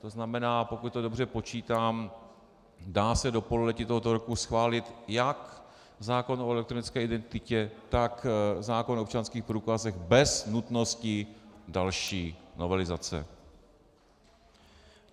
To znamená, pokud to dobře počítám, dá se do pololetí tohoto roku schválit jak zákon o elektronické identitě, tak zákon o občanských průkazech bez nutnosti další novelizace.